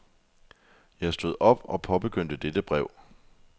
Jeg stod op og påbegyndte dette brev.